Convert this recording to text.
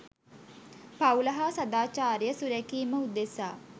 පවුල හා සදාචාරය සුරැකීම උදෙසා